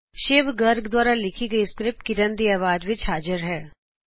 ਸ਼ਿਵ ਗਰਗ ਦ੍ਵਾਰਾ ਲਿਖੀ ਸਕ੍ਰਿਪਟ ਕਿਰਨ ਖੋਸਲਾ ਦੀ ਅਵਾਜ਼ ਵਿੱਚ ਹਾਜ਼ਿਰ ਹੋਈ